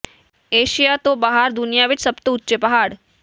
Asia ਤੋਂ ਬਾਹਰ ਦੁਨੀਆਂ ਵਿੱਚ ਸਭ ਤੋਂ ਉੱਚੇ ਪਹਾੜ